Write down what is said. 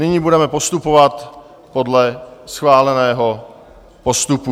Nyní budeme postupovat podle schváleného postupu.